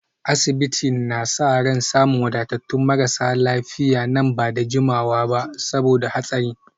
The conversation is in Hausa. Asibitin na sa ran samun wadatattun marasa lafiya nan ba da jimawa ba saboda hatsarin